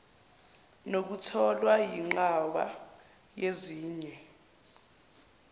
nokutholwa yinqwaba yezinye